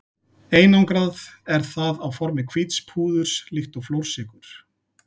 Einangrað er það á formi hvíts púðurs líkt og flórsykur.